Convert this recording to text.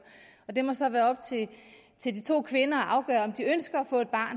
og det må så være op til de to kvinder at afgøre om de ønsker